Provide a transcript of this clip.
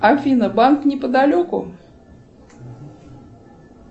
афина банк неподалеку